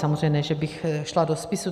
Samozřejmě ne že bych šla do spisů.